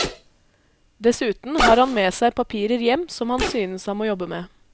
Dessuten har han med seg papirer hjem som han synes han må jobbe med.